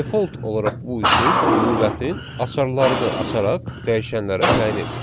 Default olaraq bu üsul lüğətin açarlarını açaraq dəyişənlərə təyin edir.